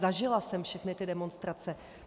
Zažila jsem všechny ty demonstrace.